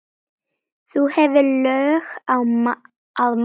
þú hefur lög að mæla